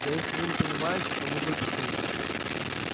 да если вы не понимаете то могу объяснить